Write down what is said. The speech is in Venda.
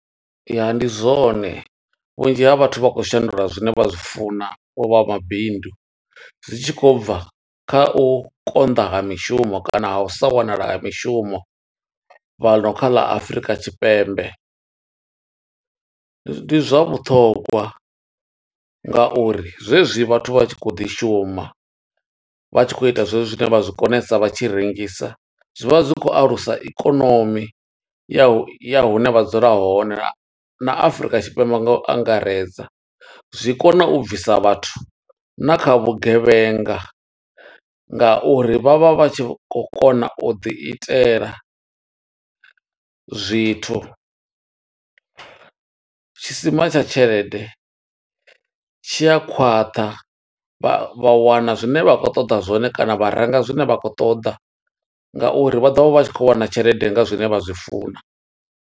Ya ndi zwone, vhunzhi ha vhathu vha khou shandula zwine vha zwi funa, u vha mabindu. Zwi tshi khou bva kha u konḓa ha mishumo, kana ha u sa wanala ha mishumo fhano kha ḽa Afurika Tshipembe. Ndi zwa vhuṱhongwa nga uri zwe zwi vhathu vha tshi khou ḓi shuma, vha tshi khou ita zwe zwo zwine vha zwi konesa, vha tshi rengisa. Zwi vha zwi khou alusa ikonomi ya ya hune vha dzula hone, na Afurika Tshipembe nga u angaredza. Zwi kona u bvisa vhathu na kha vhugevhenga nga uri vha vha vha tshi khou kona u ḓi itela zwithu, tshisima tsha tshelede tshi a khwaṱha. Vha wana zwine vha khou ṱoḓa zwone kana vharenga zwine vha khou ṱoḓa, nga uri vha ḓovha vha tshi khou wana tshelede nga zwine vha zwi funa.